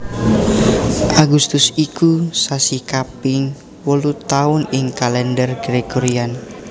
Agustus iku sasi kaping wolu taun ing Kalèndher Gregorian